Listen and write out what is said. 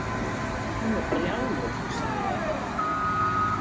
Hún er brjáluð, hugsaði ég.